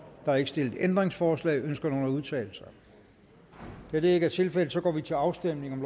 er ikke stillet ændringsforslag ønsker nogen at udtale sig da det ikke er tilfældet går vi til afstemning